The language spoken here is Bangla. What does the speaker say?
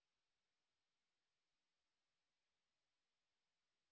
এটি ভারত সরকারের আইসিটি মাহর্দ এর ন্যাশনাল মিশন ওন এডুকেশন দ্বারা সমর্থিত